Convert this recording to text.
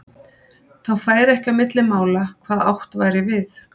Þá færi ekki á milli mála hvað átt væri við.